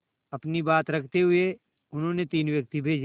अपनी बात रखते हुए उन्होंने तीन व्यक्ति भेजे